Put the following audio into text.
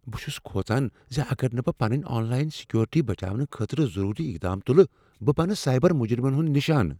بہ چھُس کھوژان زِ اگر نہٕ بہٕ پنٕنۍ آن لائن سیکیورٹی بچاونہٕ خٲطرٕ ضروری اقدام تُلہٕ، بہٕ بنہٕ سائبر مجرمن ہنُد نشانہ۔